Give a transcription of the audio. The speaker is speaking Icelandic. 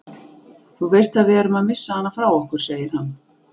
Þú veist að við erum að missa hana frá okkur, segir hann.